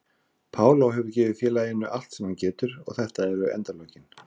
Paulo hefur gefið félaginu allt sem hann getur og þetta eru endalokin.